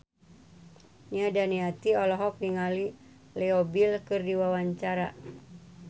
Nia Daniati olohok ningali Leo Bill keur diwawancara